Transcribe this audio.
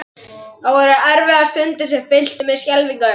Það voru erfiðar stundir sem fylltu mig skelfingu.